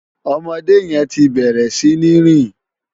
Òmòdé yèn ti bèrè si ni rin